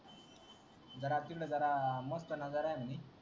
घरातील जारा मस्त नजारा हान मी